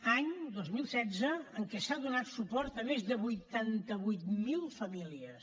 any dos mil setze en què s’ha donat suport a més de vuitanta vuit mil famílies